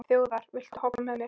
Þjóðar, viltu hoppa með mér?